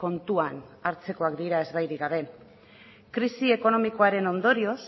kontuan hartzekoak dira ezbairik gabe krisi ekonomikoaren ondorioz